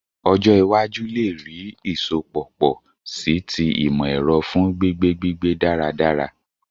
Ọjọ iwaju le rii isọpọ pọ si ti imọ-ẹrọ fun gbigbe gbigbe daradara